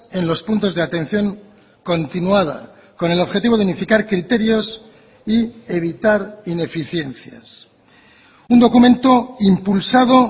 en los puntos de atención continuada con el objetivo de unificar criterios y evitar ineficiencias un documento impulsado